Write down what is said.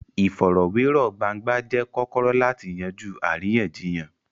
Ìfọ̀rọ̀wérọ̀ gbangba jẹ́ kọ́kọ́rọ́ láti yanjú àríyànjiyàn.